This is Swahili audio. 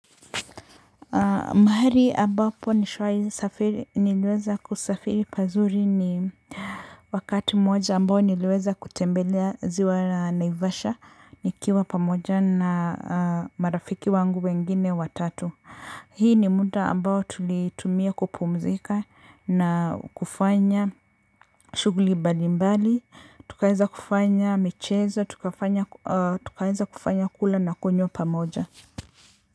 Mahari ambapo nishwai niliweza kusafiri pazuri ni wakati mmoja ambao niliweza kutembelea ziwa naivasha nikiwa pamoja na marafiki wangu wengine watatu hii ni muda ambao tulitumia kupumzika na kufanya shughuli mbalimbali, tukaweza kufanya michezo, tukaweza kufanya kula na kunywa pamoja.